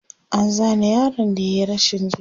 an Zane yaron da yayi rashin ji